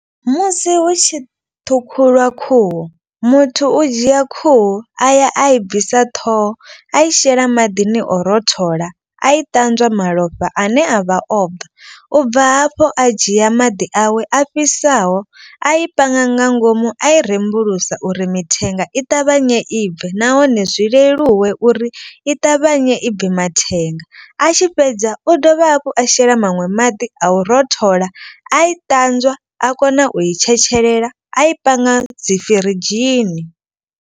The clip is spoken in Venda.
Musi hu tshi ṱhukhuliwa khuhu muthu u dzhia khuhu a ya a i bvisa ṱhoho. A i shela maḓini o rothola a i ṱanzwa malofha ane a vha o bva. U bva hafho a dzhia maḓi awe a fhisaho a i panga nga ngomu a i rembulusa uri mithenga i ṱavhanye i bve. Nahone zwi leluwe uri i ṱavhanye i bve mathenga. A tshi fhedza u dovha hafhu a shela maṅwe maḓi a u rothola a i ṱanzwa a kona u i tshetshelela a i panga dzi firidzhini.